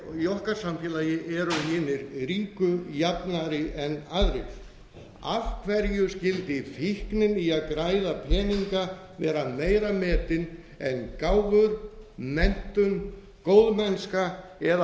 samfélagi eru hinir ríku jafnari en aðrir af hverju skyldi fíknin í að græða peninga vera meira metin en gáfur menntun góðmennska eða